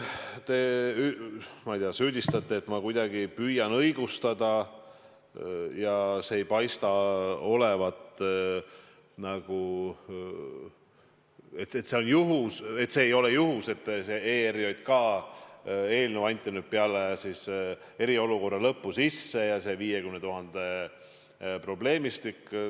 Te süüdistate, et ma kuidagi püüan õigustada ja see ei paista olevat juhus, et see ERJK eelnõu anti nüüd peale eriolukorra lõppu sisse, ja kogu see 50 000 probleemistik.